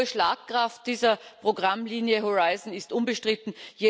Denn die hohe Schlagkraft dieser Programmlinie Horizon ist unbestritten.